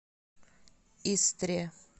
истре